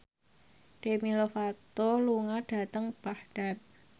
Demi Lovato lunga dhateng Baghdad